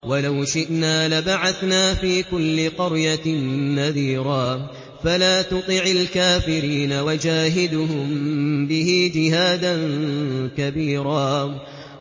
وَلَوْ شِئْنَا لَبَعَثْنَا فِي كُلِّ قَرْيَةٍ نَّذِيرًا